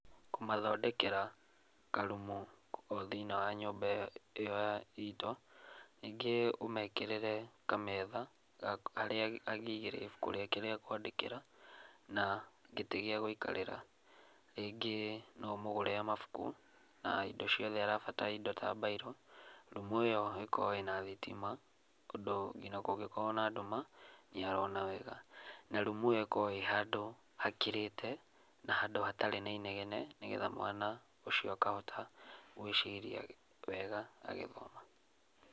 Kũmathondekera karumu kũu thĩnĩ wa nyũmba ĩyo itũ ningĩ ũmekĩrĩre kametha harĩa angĩigĩrĩra ibuku rĩake rĩa kwandĩkĩra, na gĩtĩ gĩa gũikarĩra. Rĩngĩ no ũmũgũrĩre mabuku na indo ciothe arabatara indo ta mbairũ. Rumu ĩyo ĩkorwo ĩna thitima ũndũ nginya kũ ngĩkorwo na ndũma nĩarona wega. Na rumu ĩyo ĩkorwo ĩhandũ hakirĩte na handũ hatarĩ na inegene nĩ getha mwana ũcio akahota gwĩciria wega agĩthoma.